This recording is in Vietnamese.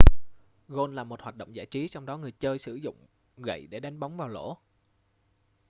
gôn là một hoạt động giải trí trong đó người chơi sử dụng gậy để đánh bóng vào lỗ